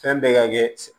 Fɛn bɛɛ ka kɛ